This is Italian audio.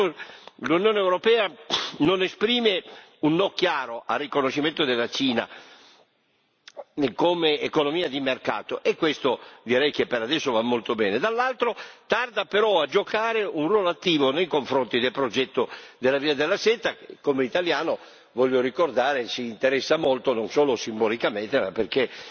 Da un lato l'Unione europea non esprime un no chiaro al riconoscimento della Cina come economia di mercato, e questo direi che per adesso va molto bene, dall'altro tarda però a giocare un ruolo attivo nei confronti del progetto della Via della seta, che, come italiano voglio ricordare mi interessa molto, non solo simbolicamente ma perché